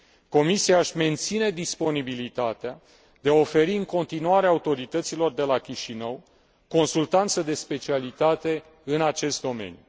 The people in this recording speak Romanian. Comisia își menține disponibilitatea de a oferi în continuare autorităților de la Chișinău, consultanță de specialitate în acest domeniu.